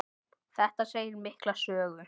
Þetta segir mikla sögu.